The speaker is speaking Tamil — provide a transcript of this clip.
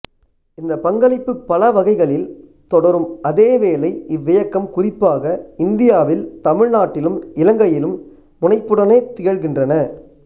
இந்தப் பங்களிப்புப் பல வகைகளில் தொடரும் அதேவேளை இவ்வியக்கம் குறிப்பாக இந்தியாவில் தமிழ்நாட்டிலும் இலங்கையிலும் முனைப்புடனே திகழ்கின்றன